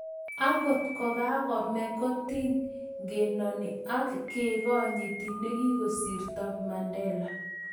akot kokakome kotikenoni ak kekonyiti nekikosirto, Mandela